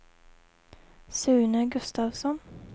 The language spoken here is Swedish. Sune Gustafsson